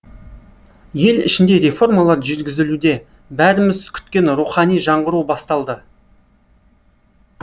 ел ішінде реформалар жүргізілуде бәріміз күткен рухани жаңғыру басталды